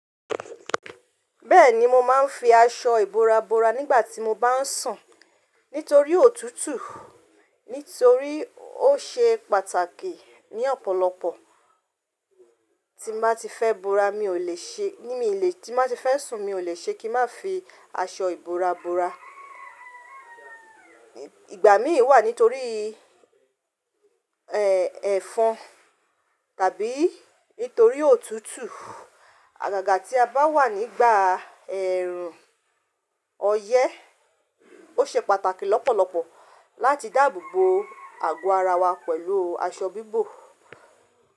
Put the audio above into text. Bẹ́ẹ̀ni mo máa ń fi aṣọ ìbora bora nígbà tí mo bá ń sùn. Nítorí òtútù, nítorí ó ṣe pàtàkì ní ọ̀pọ̀lọpọ̀ tí má tí fẹ́ bora mi ò lè ṣe, ní mi ì lè tí má tí fẹ́ sùn mi ò lè ṣe kí má fi aṣọ ìbora bora. Ìgbà mí wà nítorí, ẹ́, ẹ̀fọn tàbí nítorí òtútù. Àgàgà tí a bá wà nígbà ẹ̀rùn, ọyẹ́ ó ṣe pàtàkì lọ́pọ̀lọpọ̀ láti dáàbò bo àgọ́ ara wa pẹ̀lú aṣọ bíbọ̀.